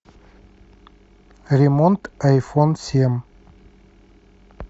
ремонт айфон семь